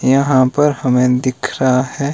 यहां पर हमें दिख रहा है --